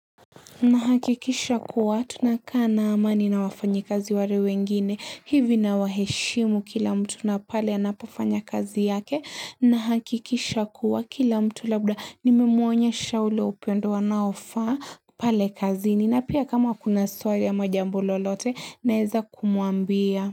Nahakikisha kuwa tuna kaa na amani na wafanyikazi ware wengine hivi na waheshimu kila mtu napale anapofanya kazi yake nahakikisha kuwa kila mtu labda nimemuonyesha ule upendo wanaofa pale kazi ni na pia kama kuna swali ama jambo lolote naeza kumuambia.